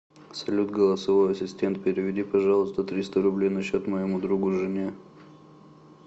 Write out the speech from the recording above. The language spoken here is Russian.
салют голосовой ассистент переведи пожалуйста триста рублей на счет моему другу жене